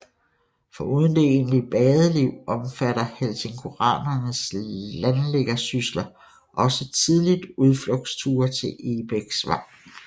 Foruden det egentlige badeliv omfattede helsingoranernes landliggersysler også tidligt udflugtsture til Egebæksvang